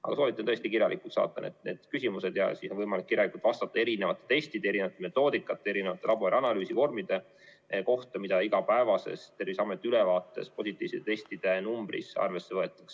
Aga soovitan tõesti saata need küsimused kirjalikult, siis on võimalik kirjalikult vastata erinevate testide, erinevate metoodikate, erinevate laborianalüüsivormide kohta, mida igapäevases Terviseameti ülevaates positiivsete testide numbris arvesse võetakse.